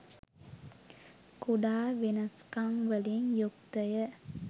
කුඩා වෙනස්කම් වලින් යුක්තය.